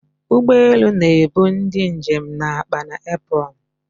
Ụgbọ elu na-ebu ndị njem na akpa na apron